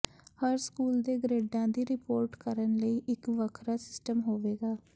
ਹਰ school ਦੇ ਗਰੇਡਾਂ ਦੀ ਰਿਪੋਰਟ ਕਰਨ ਲਈ ਇੱਕ ਵੱਖਰਾ ਸਿਸਟਮ ਹੋਵੇਗਾ